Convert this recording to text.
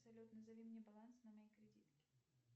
салют назови мне баланс на моей кредитке